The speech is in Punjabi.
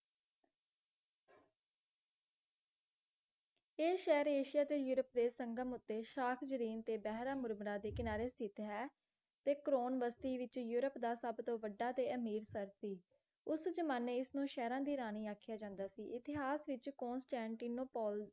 ਇਹ ਸ਼ਹਿਰ ਏਸ਼ੀਆ ਤੇ ਯੂਰੋਪ ਦੇ ਸੰਗਮ ਉੱਤੇ ਸ਼ਾਖ ਜਰੀਨ ਤੇ ਬਹਿਰਾਮ ਮੁਰਮਰਾ ਦੇ ਕਿਨਾਰੇ ਸਥਿਤ ਹੈ ਤੇ crown ਬਸਤੀ ਵਿੱਚ ਯੂਰੋਪ ਦਾ ਸਭ ਤੋਂ ਵੱਢਾ ਤੇ ਅਮੀਰ ਸਿਰ ਸੀ ਉਸ ਜਮਾਨੇ ਇਸਨੂੰ ਸ਼ਹਿਰਾਂ ਦੀ ਜਾਂਦਾ ਸੀ ਇਤਿਹਾਸ ਵਿੱਚ ਕੋਸਟੈਂਟੀਨੋਪੋਲ